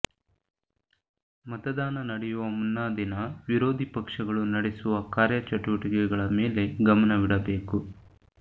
ಮತದಾನ ನಡೆಯುವ ಮುನ್ನಾ ದಿನ ವಿರೋಧಿ ಪಕ್ಷಗಳು ನಡೆಸುವ ಕಾರ್ಯ ಚಟುವಟಿಕೆಗಳ ಮೇಲೆ ಗಮನವಿಡಬೇಕು